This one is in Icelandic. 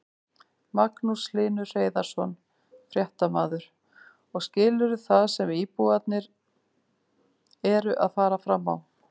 Magnús Hlynur Hreiðarsson, fréttamaður: Og skilurðu það sem íbúarnir eru að fara fram á?